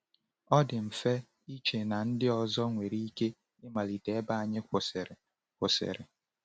Ọ dị mfe iche na ndị ọzọ nwere ike ịmalite ebe anyị kwụsịrị. kwụsịrị.